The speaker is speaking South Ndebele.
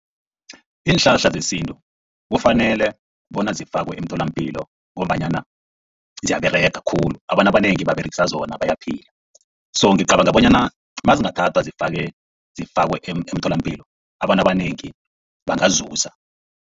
Iinhlahla zesintu kufanele bona zifakwe emtholapilo, ngombanyana ziyaberega khulu, abantu abanengi baberegisa zona bayaphila. So ngicabanga bonyana nazingathathwa zifake, zifakwe emtholapilo abantu abanengi bangazuza.